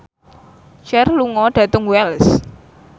Cher lunga dhateng Wells